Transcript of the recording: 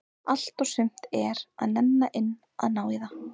Allt og sumt er að nenna inn að ná í það.